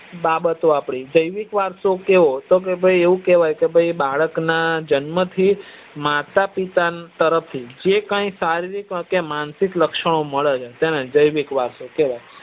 બાબતો આપડી જેવિક વરસો કેવો તો આપડે એવું કેવાય કે બાળક ના જન્મ થી માતા પિતા તરફ થી જે પણ શારીરિક કે માનસિક લક્ષણ ઓ મળે છે તેને જેવિક વરસો કેવાય